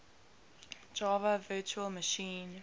java virtual machine